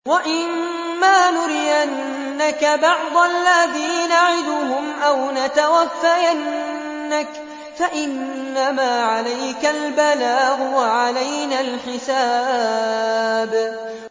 وَإِن مَّا نُرِيَنَّكَ بَعْضَ الَّذِي نَعِدُهُمْ أَوْ نَتَوَفَّيَنَّكَ فَإِنَّمَا عَلَيْكَ الْبَلَاغُ وَعَلَيْنَا الْحِسَابُ